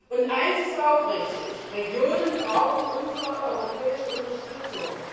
Und eins ist auch richtig Regionen brauchen unsere europäische Unterstützung.